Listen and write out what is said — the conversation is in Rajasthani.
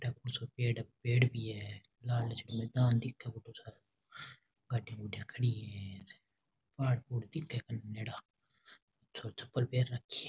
थको सा पेड़ है पेड़ भी है लालच में दिखे गाडी गुड़ी खड़ी है पहाड़ दिखे है चप्पल पेहेन राखी है।